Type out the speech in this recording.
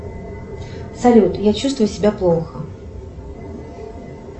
салют я чувствую себя плохо